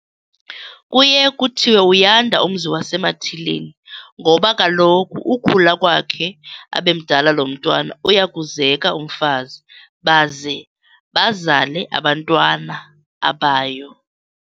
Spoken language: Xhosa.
Kuye kuthiwe uyanda umzi wasemathileni ngoba kaloku ukhula kwakhe abe mdala lo mntwana uya kuzeka umfazi baze bazale abantwana abayo